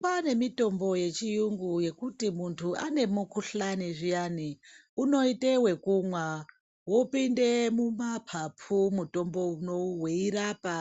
Kwane mitombo yechiyungu yekuti muntu ane mukuhlani zviyani uno ite wekumwa wopinde mu mapapu mutombo unowu wei rapa